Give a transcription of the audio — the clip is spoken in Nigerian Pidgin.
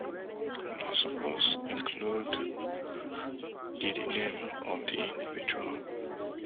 una suppose include di di name of di individual